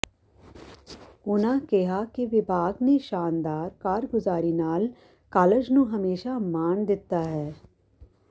ਉਨ੍ਹਾਂ ਕਿਹਾ ਕਿ ਵਿਭਾਗ ਨੇ ਸ਼ਾਨਦਾਰ ਕਾਰਗੁਜ਼ਾਰੀ ਨਾਲ ਕਾਲਜ ਨੂੰ ਹਮੇਸ਼ਾ ਮਾਣ ਦਿੱਤਾ ਹੈ